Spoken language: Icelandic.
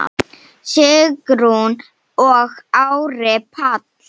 Sigrún og Ari Páll.